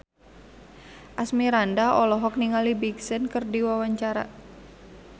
Asmirandah olohok ningali Big Sean keur diwawancara